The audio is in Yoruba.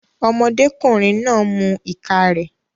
Ọmọdékùnrin náà ń mu ìka rẹ̀